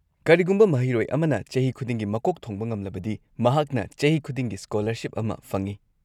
ꯀꯔꯤꯒꯨꯝꯕ ꯃꯍꯩꯔꯣꯏ ꯑꯃꯅ ꯆꯍꯤ ꯈꯨꯗꯤꯡꯒꯤ ꯃꯀꯣꯛ ꯊꯣꯡꯕ ꯉꯝꯂꯕꯗꯤ, ꯃꯍꯥꯛꯅ ꯆꯍꯤ ꯈꯨꯗꯤꯡꯒꯤ ꯁ꯭ꯀꯣꯂꯔꯁꯤꯞ ꯑꯃ ꯐꯪꯢ꯫